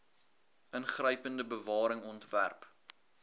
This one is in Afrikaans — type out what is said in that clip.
ingrypende bewaring ontwerp